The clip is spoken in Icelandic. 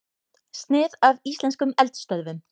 Snið af íslenskum eldstöðvum.